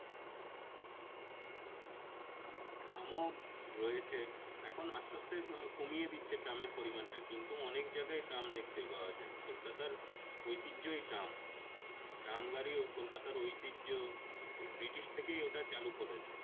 ট্রামও রয়েছে এখন আস্তে আস্তে কমিয়ে দিচ্ছে ট্রামের পরিমানটা কিন্তু অনেক জায়গায় ট্রাম দেখতে পাওয়া যায় কলকাতার ঐতিহ্যই ট্রাম। ট্রাম গাড়ি ও কলকাতার ঐতিহ্য এই ব্রিটিশ থেকেই ওটা চালু করেছে।